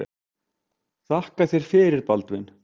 Þakka þér fyrir Baldvin.